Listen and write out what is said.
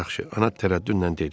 Yaxşı, ana tərəddüdlə dedi.